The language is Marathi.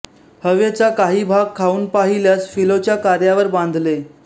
हवेचा काही भाग खाऊन पाहिल्यास फिलोच्या कार्यावर बांधले